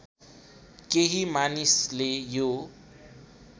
केही मानिसले यो